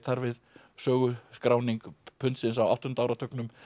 þar við sögu skráning pundsins á áttunda áratugnum